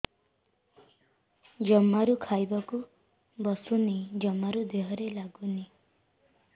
ଜମାରୁ ଖାଇବାକୁ ବସୁନି ଜମାରୁ ଦେହରେ ଲାଗୁନି